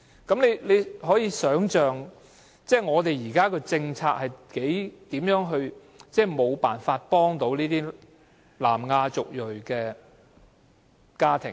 大家可以想象，現行的政策根本無法幫助這些有小朋友的南亞族裔家庭。